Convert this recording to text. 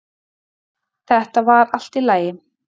Þetta var allt í lagi